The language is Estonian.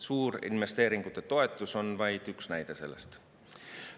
Suurinvesteeringute toetus on vaid üks näide sellest.